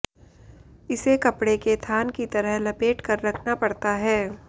इसे कपड़े के थान की तरह लपेट कर रखना पड़ता है